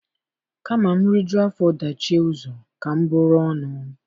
Kama m rijuo afọ dachie ụzọ, ka m buru ọnụ